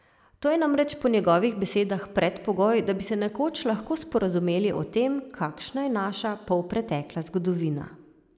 To je namreč po njegovih besedah predpogoj, da bi se nekoč lahko sporazumeli o tem, kakšna je naša polpretekla zgodovina.